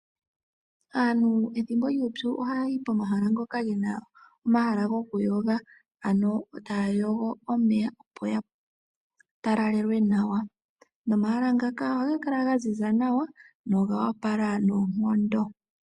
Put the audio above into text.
Aantu pethimbo lyuupyu ohaya yi komahala ngoka gena omahala goku yoga. Ano taya yogo omeya opo ya talalelwe nawa. Nomahala ngaka ohaga kala ga ziza nawa na ogoopala noonkondo.